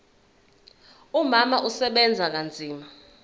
umama usebenza kanzima